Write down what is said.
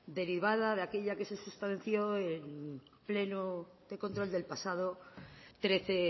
derivada de aquella que se sustanció en pleno de control del pasado trece